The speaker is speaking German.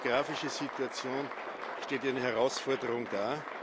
Auch die demografische Situation stellt eine Herausforderung dar.